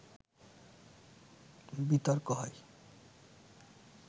বিতর্ক হয়